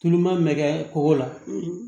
Tulu ma mɛ kɛ kɔgɔ la